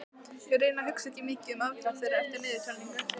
Ég reyni að hugsa ekki um afdrif þeirra eftir niðurtalningu.